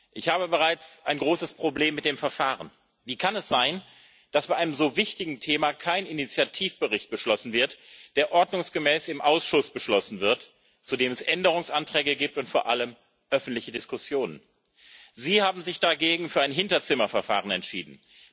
Ich habe bereits ein großes Problem mit dem Verfahren. Wie kann es sein, dass bei einem so wichtigen Thema kein Initiativbericht beschlossen wird, der ordnungsgemäß im Ausschuss beschlossen wird, zu dem es Änderungsanträge gibt und vor allem öffentliche Diskussionen? Sie haben sich dagegen für ein Hinterzimmerverfahren entschieden.